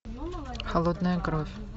холодная кровь